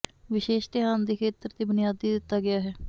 ਵਿਸ਼ੇਸ਼ ਧਿਆਨ ਦੇ ਖੇਤਰ ਦੇ ਬੁਨਿਆਦੀ ਦਿੱਤਾ ਗਿਆ ਹੈ